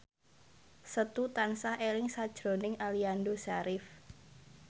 Setu tansah eling sakjroning Aliando Syarif